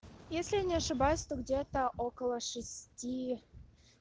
если я не ошибаюсь то где-то около шести